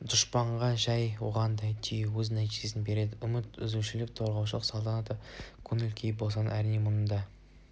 дұшпанға жай оғындай тию өз нәтижесін береді үміт үзушілік торығушылықты салтанатты көңіл күй басады әрине мұның